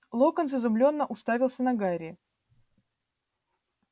локонс изумлённо уставился на гарри